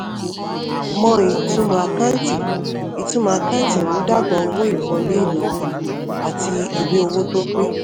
mọ ìtumò àkáǹtì ìtumò àkáǹtì ìmúdàgba owó ìwọlé ìnáwó àti ìwé owó tó pé.